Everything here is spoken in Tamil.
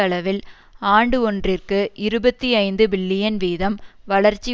அளவில் ஆண்டு ஒன்றிற்கு இருபத்தி ஐந்து பில்லியன் வீதம் வளர்ச்சி